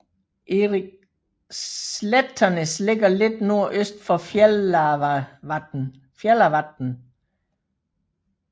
Slættanes ligger lidt nordøst for Fjallavatn